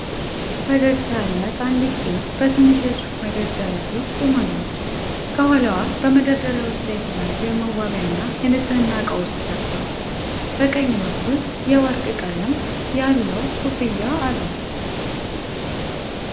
ፈገግታ ያላት አንዲት ሴት በትንሽ የሱቅ መደርደሪያ ፊት ቆማለች። ከኋላዋ በመደርደሪያዎች ላይ የተለያዩ የመዋቢያና የንጽህና ዕቃዎች ተደርድረዋል። በቀኝ በኩል የወርቅ ቀለም ያለው ኮፍያ አለ።